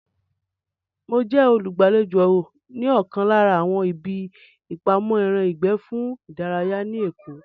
Mo jẹ́ olùgbàlejò ní ọ̀kan lára àwọn ibi ìpamọ́ ẹran ìgbẹ́ fún ìdárayá ní èkó